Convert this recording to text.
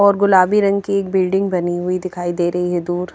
और गुलाबी रंग की एक बिल्डिंग बनी हुई दिखाई दे रही है दूर--